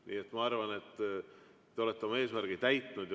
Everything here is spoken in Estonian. Nii et ma arvan, et te olete oma eesmärgi täitnud.